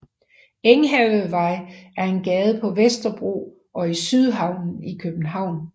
Enghavevej er en gade på Vesterbro og i Sydhavnen i København